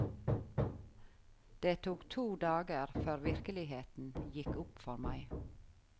Det tok to dager før virkeligheten gikk opp for meg.